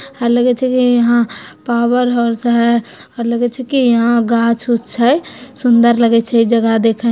लगे छे कि यहाँ पावर हे लगे छे यहाँ गाछ वूछ हे सुंदर लगे छे जगह देखे में--